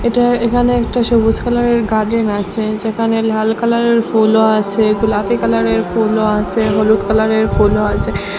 এটা এখানে একটা সবুজ কালারে র গার্ডেন আসে যেখানে লাল কালারে র ফুলও আসে গোলাপী কালারে র ফুলও আসে হলুদ কালারে র ফুলও আছে।